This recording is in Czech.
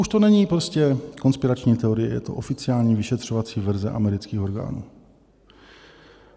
Už to není prostě konspirační teorie, je to oficiální vyšetřovací verze amerických orgánů.